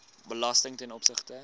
belasting ten opsigte